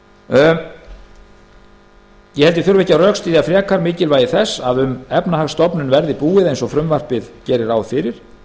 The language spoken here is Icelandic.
held ég þurfi ekki að rökstyðja frekar mikilvægi þess að um efnahagsstofnun verði búið eins og frumvarpið gerir ráð fyrir